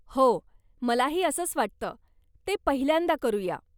हो, मलाही असंच वाटतं, ते पहिल्यांदा करूया .